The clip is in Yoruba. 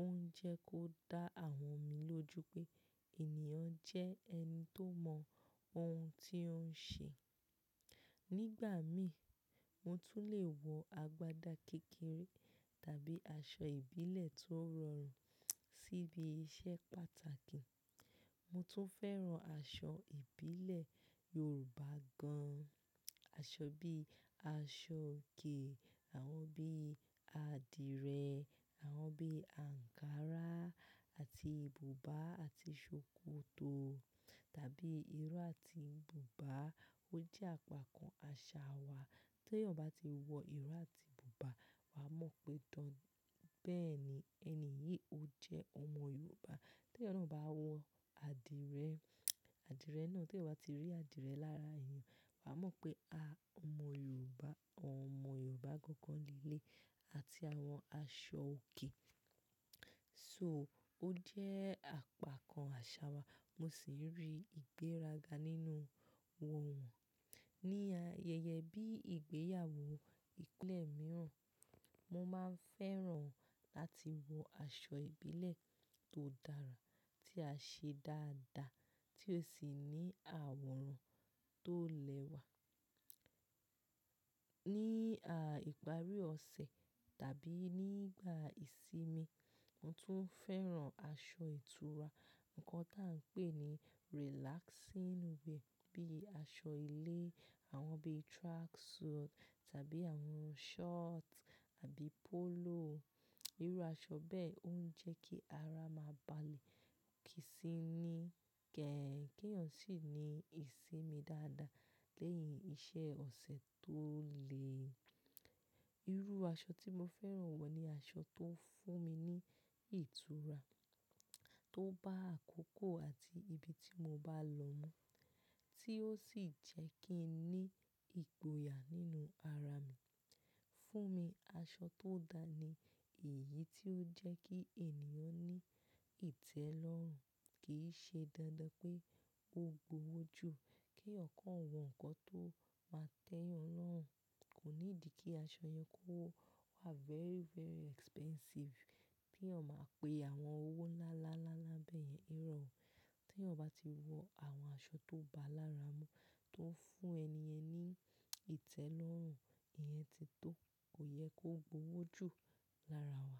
ó ń jẹ́ kó dá àwọn mi lójú pé ènìyàn jẹ́ ẹni tó mọ ohun tí ó ń ṣe. Nígbà mí, mo tún lè wọ agbádá kékeré tàbí aṣọ ìbílẹ̀ tó rọrùn síbi iṣẹ́ pàtàkì. Mo tún fẹ́ràn aṣọ ìbílẹ̀ Yorùbá gan-an. Aṣọ bíi aṣọ òkè, àwọn bíi adìrẹ, àwọn bíi ankara àti buba àti ṣòkòtò tàbí irú àti buba. Ó jẹ́ àpá kan àṣà wa tí ẹyan bá ti wọ iró àti buba, wà á mọ̀ pé dọ́ń, bẹ́ẹ̀ ni, ẹni yìí ó jẹ́ ọmọ Yorùbá. Tí ẹyan bá wọ adìrẹ, adìrẹ náà, tí ẹyán bá ti rí adìrẹ lára ẹ̀yàn, wà á mọ̀ pé, a, ọmọ Yorùbá, ọmọ Yorùbá gangan le lé, àti àwọn aṣọ òkè. So, ó jẹ́ àpá kan àṣà wa, mo sì rí ìgbéraga nínú wọ̀ wọ́n. Ni ayẹyẹ bí ìgbéyàwó, ìpínlẹ̀ mìíràn, mo máa ń fẹ́ràn láti wọ aṣọ ìbílẹ̀ tó dára tí a ṣe dáadáa tí ó sì ní àwòrán tó lẹ́wà. Ni, a, ìparí ọ̀sẹ̀ tàbí nígbà ìsinmi, mo tún fẹ́ràn aṣọ ìtura, nǹkan tí à ń pè ní relaxing wear bíi aṣọ ilé, àwọn bíi track suit tàbí àwọn short àbí polo. Irú aṣọ bẹ́ẹ̀ ó ń jẹ́ kí ara máa balẹ̀, kì í sì ní kẹ́ẹ̀ẹ̀, kí ẹ̀nìyàn sì ní ìsinmi dáadáa lẹ́yìn iṣẹ́ ọ̀sẹ̀ tó le. Irú aṣọ tí mo fẹ́ràn wọ̀ ni aṣọ tó ń fún mi ní ìtura, tó bá àkókò àti ibi tí mo bá lọ mọ́, tí ó sì jẹ́ kí n ní ìgboyà nínú ara mi. Fún mi, aṣọ tó dáa ni èyí tí ó jẹ́ kí ènìyàn ní ìtẹ́lọ́rùn, kì í ṣe dandan pé ó gbówó jù, kí ọ̀kan wọ nǹkan tó máa tẹ́yàn lọ́hùn. Kò ní di kí aṣọ yẹn kó wà very, very expensive tí ẹyan máa pe àwọn owó lálá, lálá bẹ́ẹ̀ yẹn irọ̀. Tí ẹyan bá ti wọ àwọn aṣọ tó bá lára mu tó ń fún ẹni ẹ ní ìtẹ́lọ́rùn, ìyẹn ti tó, kò yẹ kó gbówó jù lára wa.